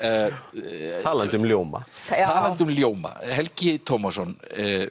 já talandi um ljóma talandi um ljóma Helgi Tómasson